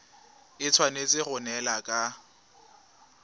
e tshwanetse go neelana ka